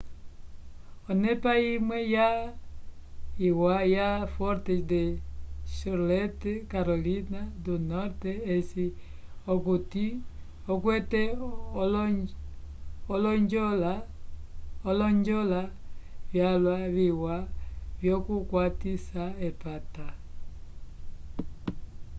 onepa imwe iwa ya fortes de charlotte carolina do norte ceci okuti okwete olonjola vyalwa viwa vyokukwatisa epata